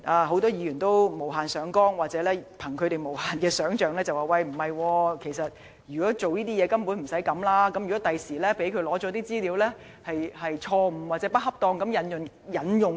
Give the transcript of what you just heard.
很多議員無限上綱或根據無限的想象力說，如果是為這用途的話，根本無需這樣做，又問如果律政司在取得資料後錯誤或不恰當地引用，應該怎麼辦。